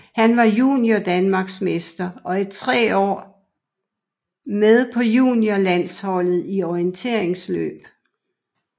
Han var juniordanmarksmester og i tre år med på juniorlandsholdet i orienteringsløb